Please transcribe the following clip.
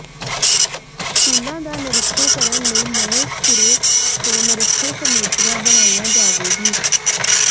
ਸਕੂਲਾਂ ਦਾ ਨਿਰੀਖਣ ਕਰਨ ਲਈ ਨਵੇਂ ਸਿਰੇ ਤੋਂ ਨਿਰੀਖਣ ਕਮੇਟੀਆਂ ਬਣਾਈਆਂ ਜਾਵੇਗੀ